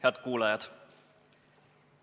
Head kuulajad!